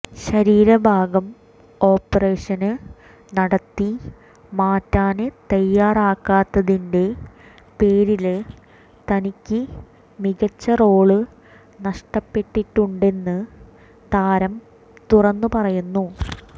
ശരീരഭാഗം ഓപ്പറേഷന് നടത്തി മാറ്റാന് തയാറാകാത്തതിന്റെ പേരില് തനിക്ക് മികച്ച റോള് നഷ്ടപ്പെട്ടിട്ടുണ്ടെന്ന് താരം തുറന്നു പറയുന്നു